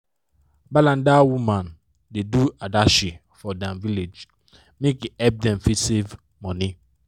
balanda women da do adashi for dem village make e help them fit save money